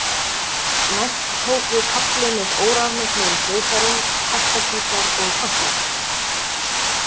Næst tók við kafli með órafmögnuðum hljóðfærum, kassagítar og kontrabassa.